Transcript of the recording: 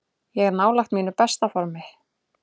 Ég er nálægt mínu besta formi.